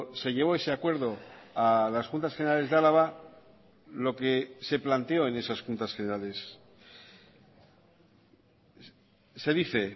se llevó ese acuerdo a las juntas generales de álava lo que se planteó en esas juntas generales se dice